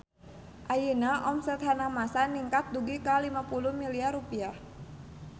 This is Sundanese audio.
Ayeuna omset Hanamasa ningkat dugi ka 50 miliar rupiah